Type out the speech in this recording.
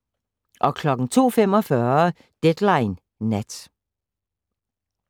02:45: Deadline Nat